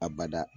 A bada